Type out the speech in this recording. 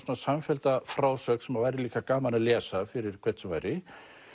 samfellda frásögn sem væri líka gaman að lesa fyrir hvern sem væri